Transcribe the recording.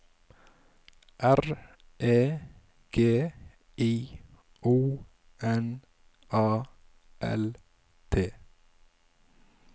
R E G I O N A L T